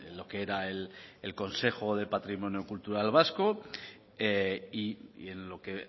lo que era el consejo del patrimonio cultural vasco y en lo que